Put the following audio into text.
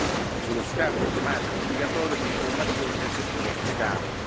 Maurel sullo scambio automatico obbligatorio di informazioni nel settore fiscale.